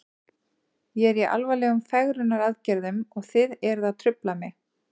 Ég er í alvarlegum fegrunaraðgerðum og þið eruð að trufla mig.